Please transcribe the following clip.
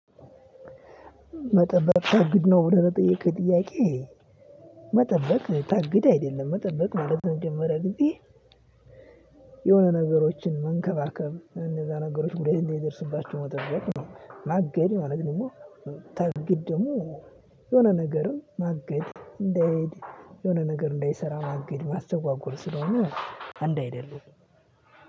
መጠበቅ ታግድ ነው ብለህ ለጠየቅከኝ ጥያቄ። መጠበቅ ታግድ አይደለም መጠበቅ ማለት ለመጀመሪያ ጊዜ። የሆነ ነገሮችን መንከባከብ እነዛ ነገሮች ጉዳት እንደደርስባቸው መጠበቅ ነው ማገድ ማለት ደግሞ። ታግድ ደግሞ የሆነ ነገርን ማገድ እንዳይሄድ። የሆነ ነገር እንዳይሰራ ማገድ ማስተጓጎል ስለሆነ። አንድ አይደሉም።